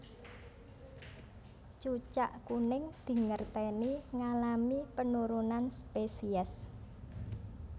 Cucak kuning dingerteni ngalami penurunan spesies